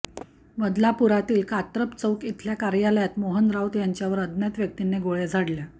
बदलापुरातील कात्रप चौक इथल्या कार्यालयात मोहन राऊत यांच्यावर अज्ञात व्यक्तीनं गोळ्या झाडल्या